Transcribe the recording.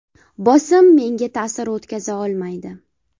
Bosim menga ta’sir o‘tkaza olmaydi.